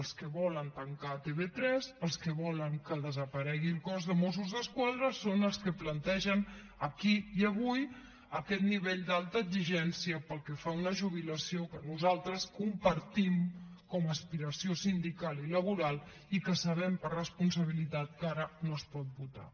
els que volen tancar tv3 els que volen que desaparegui el cos de mossos d’esquadra són els que plantegen aquí i avui aquest nivell d’alta exigència pel que fa a una jubilació que nosaltres compartim com a aspiració sindical i laboral i que sabem per responsabilitat que ara no es pot votar